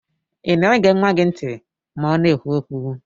Ina ege nwa gi nti ma ọna ekwu okwu?